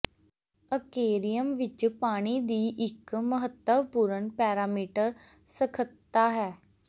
aquarium ਵਿਚ ਪਾਣੀ ਦੀ ਇੱਕ ਮਹੱਤਵਪੂਰਨ ਪੈਰਾਮੀਟਰ ਸਖਤਤਾ ਹੈ